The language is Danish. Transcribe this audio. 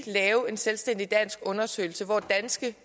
lave en selvstændig dansk undersøgelse hvor danske